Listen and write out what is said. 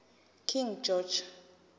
king george